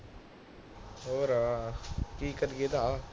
ਹੋਰ ਕਿ ਕਰੀਏ ਭਾ